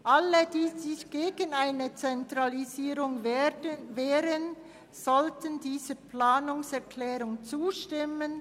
Alle, die sich gegen eine Zentralisierung wehren, sollten dieser Planungserklärung zustimmen.